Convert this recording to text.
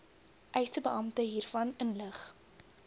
eisebeampte hiervan inlig